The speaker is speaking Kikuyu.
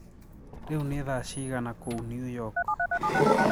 riu ni thaa cĩĩgana kũũ new york